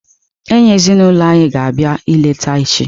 Enyi ezinulo anyi ga abịa eleta echi.